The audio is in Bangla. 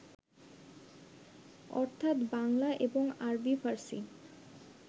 অর্থ্যাৎ বাংলা এবং আরবী-ফার্সী